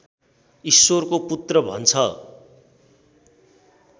ईश्वरको पुत्र भन्छ